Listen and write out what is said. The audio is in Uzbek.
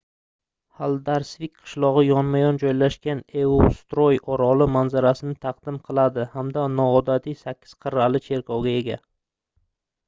haldarsvik qishlogʻi yonma-yon joylashgan eysturoy oroli manzarasini taqdim qiladi hamda noodatiy sakkiz qirrali cherkovga ega